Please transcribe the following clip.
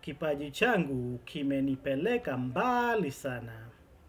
Kipaji changu kimenipeleka mbali sana.